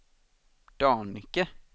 Dannike